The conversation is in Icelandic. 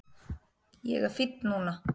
Ég er fínn núna